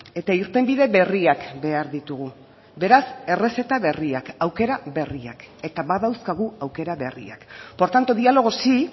eta irtenbide berriak behar ditugu beraz errezeta berriak aukera berriak eta badauzkagu aukera berriak por tanto diálogo sí